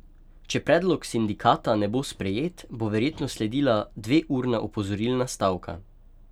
Če predlog sindikata ne bo sprejet, bo verjetno sledila dveurna opozorilna stavka.